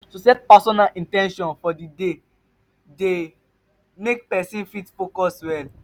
to set personal in ten tions for di day dey make persin fit focus well